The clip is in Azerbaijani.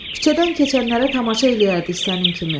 Küçədən keçənlərə tamaşa eləyərdik sənin kimi.